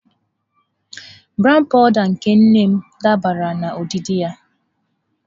Brown powụda nke nne m dabara na odidi ya.